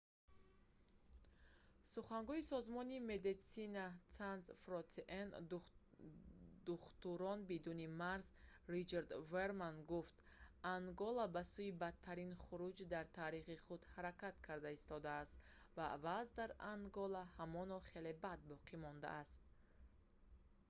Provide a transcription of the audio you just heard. сухангӯи созмони medecines sans frontiere духтурон бидуни марз ричард веерман гуфт: ангола ба сӯи бадтарин хуруҷ дар таърихи худ ҳаракат карда истодааст ва вазъ дар ангола ҳамон хел бад боқӣ мондааст